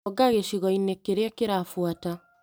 Thonga gĩcigo-inĩ kĩrĩa kĩrabuata .